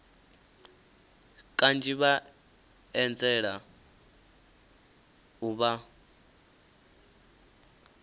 kanzhi vha anzela u vha